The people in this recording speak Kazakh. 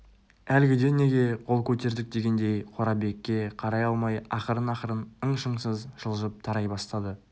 әлгіде неге қол көтердік дегендей қорабекке қарай алмай ақырын-ақырын ың-шыңсыз жылжып тарай бастады